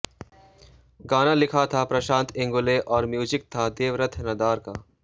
गाना लिखा था प्रशांत इंगोले और म्यूज़िक था देवरथ नदार का